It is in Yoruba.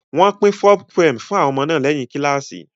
Wọ́n pín folk poems fún àwọn ọmọ náà lẹ́yìn kíláàsì